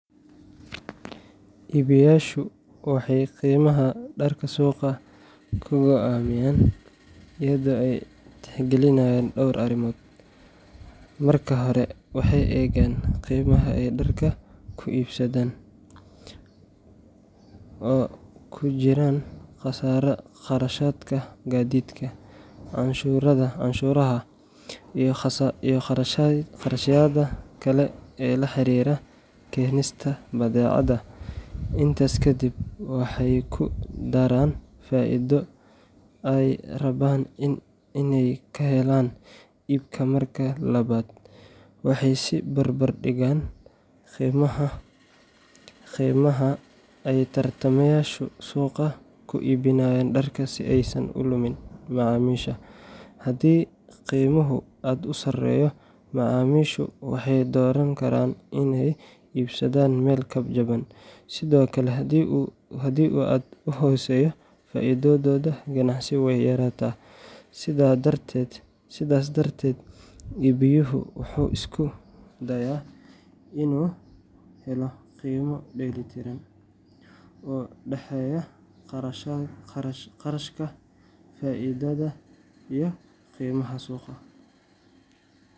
Iibiyeyaashu waxay qiimaha dharka suuqa ku go'aamiyaan iyadoo ay tixgelinayaan dhowr arrimood. Marka hore, waxay eegaan qiimaha ay dharka ku soo iibsadeen cost price, oo ay ku jiraan kharashaadka gaadiidka, canshuuraha, iyo kharashyada kale ee la xiriira keenista badeecada. Intaas kadib, waxay ku daraan faa’iido ay rabaan inay ka helaan iibka. Marka labaad, waxay is barbar dhigaan qiimaha ay tartamayaashu suuqa ku iibinayaan dharka si aysan u lumin macaamiisha. Haddii qiimuhu aad u sareeyo, macaamiishu waxay dooran karaan inay ka iibsadaan meel ka jaban. Sidoo kale, haddii uu aad u hooseeyo, faa’iidadooda ganacsi way yaraataa. Sidaas darteed, iibiyuhu wuxuu isku dayaa inuu helo qiime dheellitiran oo u dhexeeya kharashka, faa’iidada, iyo qiimaha suuqa.